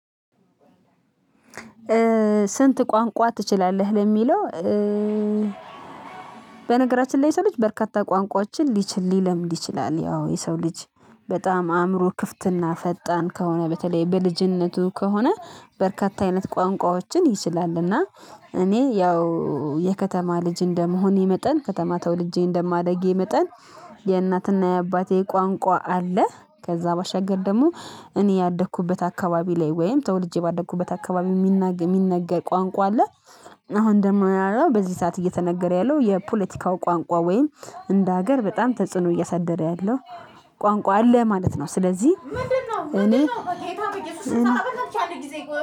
ስንት ቋንቋ ትችላለህ ለሚለው? በነገራችን ላይ ስልህ በርካታ ቋንቋዎችን ሊችል ሊለምድ ይችላል። ያው የሰው ልጅ በጣም አእምሮ ክፍትና ፈጣን ከሆነ በተለይ በልጅነቱ ከሆነ በርካታ አይነት ቋንቋዎችን ይችላል። እና እኔ ያው የከተማ ልጅ እንደመሆኔ መጠን ከተማ ተወልጄ እንደማደጌ መጠን የእናትና የአባቴ ቋንቋ አለ። ከዛ ባሻገር ደግሞ እኔ ያደኩበት አካባቢ ላይ ወይም ተወልጄ ባደኩበት አካባቢ የሚነገር ቋንቋ አለ። አሁን ደግሞ ያለው በዚህ ሰዓት እየተነገረ ያለው የፖለቲካው ቋንቋ ወይም እንደ ሀገር በጣም ተጽዕኖ እየሳደረ ያለው ቋንቋ አለ ማለት ነው። ስለዚህ ምንድነው? ምንድነው በጌታ በእየሱስ ስም አራት ብቻ አለ ጊዜ